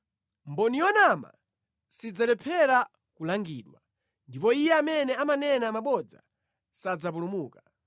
Mboni yonama sidzalephera kulangidwa; ndipo iye amene amanena mabodza sadzapulumuka.